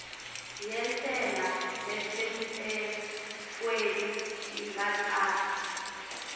yentsela lesemtsetfweni ingatsatsa